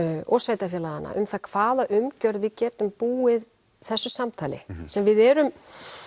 og sveitafélaganna um það hvaða umgjörð við getum búið þessu samtali sem við erum